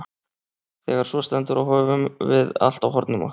Þegar svo stendur á höfum við allt á hornum okkar.